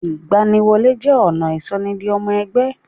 Ìgbaniwọlé jẹ́ ọ̀nà ìsọ ni di ọmọ ẹgbẹ́.